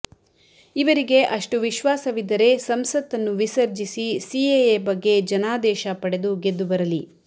ಇವರಿಗೆ ಅಷ್ಟು ವಿಶ್ವಾಸವಿದ್ದರೆ ಸಂಸತನ್ನು ವಿಸರ್ಜಿಸಿ ಸಿಎಎ ಬಗ್ಗೆ ಜನಾದೇಶ ಪಡೆದು ಗೆದ್ದು ಬರಲಿ